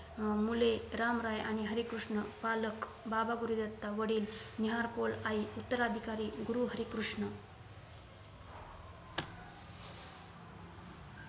अं मुले-राम राय आणि हरी कृष्ण पालक बाबा गुरुदित्ता वडील निहाल कौर आई उत्तराधिकारी - गुरु हरी कृष्ण